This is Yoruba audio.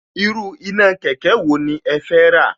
Irú iná kẹ̀kẹ́ wo ni ẹ fẹ́ rà